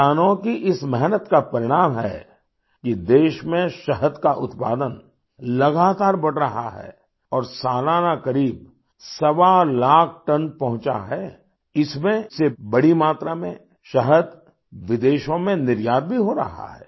किसानों की इस मेहनत का परिणाम है कि देश में शहद का उत्पादन लगातार बढ़ रहा है और सालाना करीब सवालाख टन पहुँचा है इसमें से बड़ी मात्रा में शहद विदेशों में निर्यात भी हो रहा है